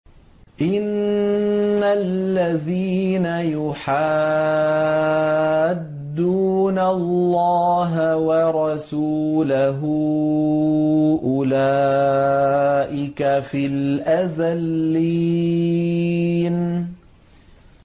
إِنَّ الَّذِينَ يُحَادُّونَ اللَّهَ وَرَسُولَهُ أُولَٰئِكَ فِي الْأَذَلِّينَ